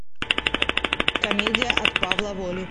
комедия от павла воли